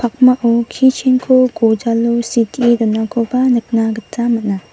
pakmao kichen gojalo sitee donakoba nikna gita man·a.